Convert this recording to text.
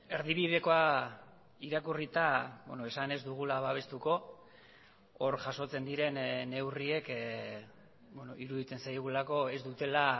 erdibidekoa irakurrita esan ez dugula babestuko hor jasotzen diren neurriek iruditzen zaigulako ez dutela